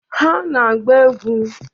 Ha na-agba egwu.